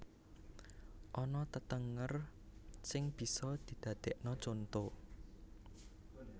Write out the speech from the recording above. Ana tetenger sing bisa didadekna contho